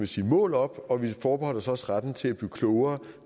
sige mål op og vi forbeholdt os også retten til at blive klogere